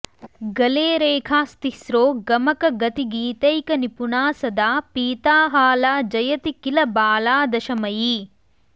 गले रेखास्तिस्रो गमकगतिगीतैकनिपुणा सदा पीता हाला जयति किल बाला दशमयी